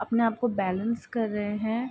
अपने-आप को बैलेंस कर रहे है।